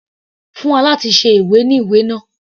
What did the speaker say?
Fún alátùnse ìwé ní ìwé náà.